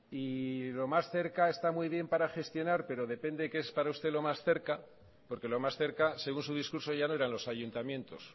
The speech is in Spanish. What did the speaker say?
y lo más cerca está muy bien para gestionar pero depende qué es para usted lo más cerca porque lo más cerca según su discurso ya no eran los ayuntamientos